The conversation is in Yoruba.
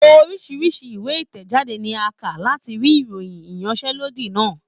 Oríṣiríṣi ìwé ìtẹ̀jáde ni a ń kà láti rí ìròyìn ìyanṣẹ́lọ́dì náà.